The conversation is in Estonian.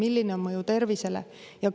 Milline on mõju tervisele?